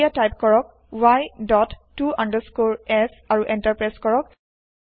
এতিয়া টাইপ কৰক y dot ত আণ্ডাৰস্কৰে s আৰু এন্টাৰ প্ৰেছ কৰক